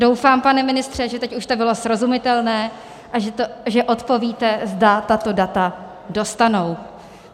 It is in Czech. Doufám, pane ministře, že teď už to bylo srozumitelné, a že odpovíte, zda tato data dostanou.